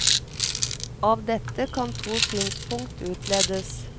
Av dette kan to synspunkt utledes.